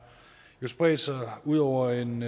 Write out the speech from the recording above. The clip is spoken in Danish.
spredt sig ud over en